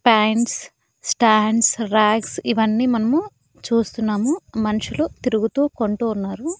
Pants stands racks ఇవన్నీ మనము చూస్తున్నాము మనుషులు తిరుగుతూ కొంటు ఉన్నారు.